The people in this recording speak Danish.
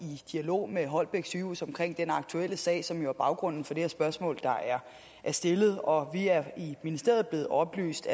i dialog med holbæk sygehus om den aktuelle sag som jo er baggrunden for det spørgsmål der er stillet og vi er i ministeriet blevet oplyst